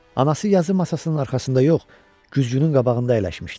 Anası yazı masasının arxasında yox, güzgünün qabağında əyləşmişdi.